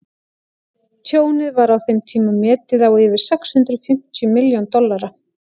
tjónið var á þeim tíma metið á yfir sex hundruð fimmtíu milljón dollara